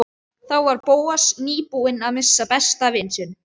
Þá var Bóas nýbúinn að missa besta vin sinn.